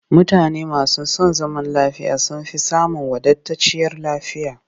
Mutane masu son zaman lafiya sun fi samun wadatacciyar lafiya